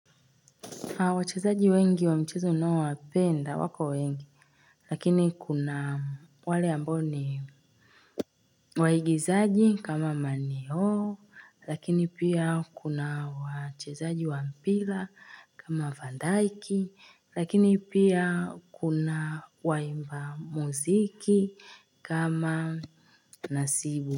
Wachezaji wengi wa mchezo ninaowapenda wako wengi, lakini kuna wale ambao ni waigizaji kama maneo, lakini pia kuna wachezaji wa mpira kama vandaiki, lakini pia kuna waimba muziki kama nasibu.